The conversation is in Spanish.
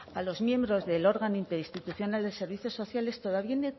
a los miembros del órgano interinstitucional de servicios sociales